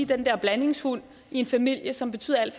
den der blandingshund i en familie som betyder alt